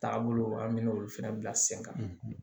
Taabolo an bɛ olu fɛnɛ bila sen kan